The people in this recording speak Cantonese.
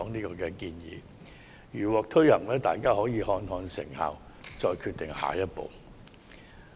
如我們的建議獲得推行，當局可視乎成效決定下一步行動。